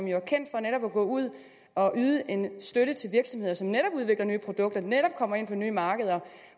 jo kendt for netop at gå ud og yde en støtte til virksomheder som netop udvikler nye produkter netop kommer ind på nye markeder